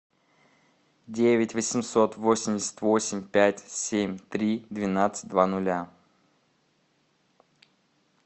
девять восемьсот восемьдесят восемь пять семь три двенадцать два нуля